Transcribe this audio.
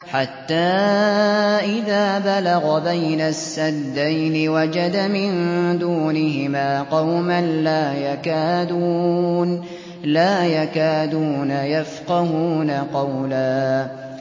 حَتَّىٰ إِذَا بَلَغَ بَيْنَ السَّدَّيْنِ وَجَدَ مِن دُونِهِمَا قَوْمًا لَّا يَكَادُونَ يَفْقَهُونَ قَوْلًا